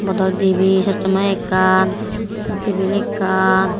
bottol dibi choshma ekkan te tebil ekkan.